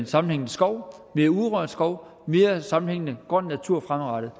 sammenhængende skov mere urørt skov mere sammenhængende grøn natur fremadrettet